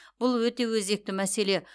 бұл өте өзекті мәселе